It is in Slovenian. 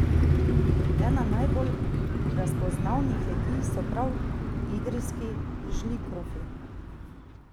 Ena najbolj razpoznavnih jedi so prav idrijski žlikrofi.